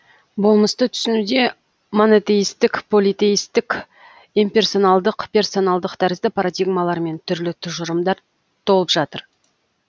болмысты түсінуде монотеистік политеистік имперсоналдық персоналдық тәрізді парадигмалар мен түрлі тұжырымдар толып жатыр